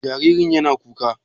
Jaririn yana kuka?